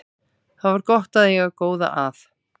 Svo var gott að eiga góða að.